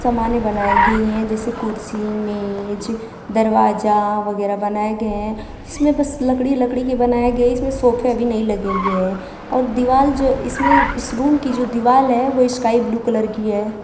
समाने बनाई गई हैं जैसे कुर्सी मेज दरवाजा वगैरा बनाए गए हैं इसमें बस लकड़ी लकड़ी के बनाए गए इसमें सोफे अभी नहीं लगे हुए हैं और दीवाल जो इसमें इस रूम की जो दीवाल है ओ स्काई ब्लू कलर की है।